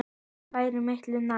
Það væri miklu nær.